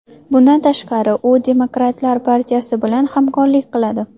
Bundan tashqari, u Demokratlar partiyasi bilan hamkorlik qiladi.